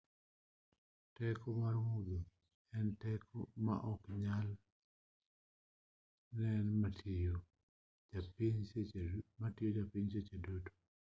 teko mar mudho en teko ma oknyal nen matiyo e piny seche duto